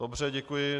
Dobře, děkuji.